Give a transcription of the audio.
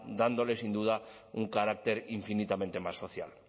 dándole sin duda un carácter infinitamente más social